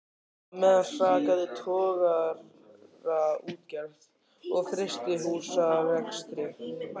Á meðan hrakaði togaraútgerð og frystihúsarekstri.